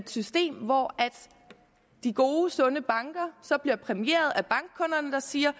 system hvor de gode sunde banker bliver præmieret af bankkunderne der siger